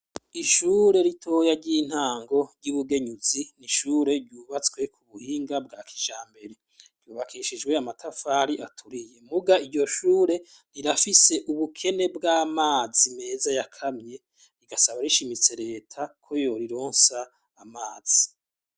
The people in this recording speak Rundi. Ishure ritoya ry' intango ry' i Bugenyuzi, ni ishure ryubatswe ku buhinga bwa kijambere. Ryubakishijwe amatafari aturiye. Muga iryo shure, rirafise ubukene bw' amazi meza yakamye. Rigasaba rishimitse Leta ko yorironsa amazi.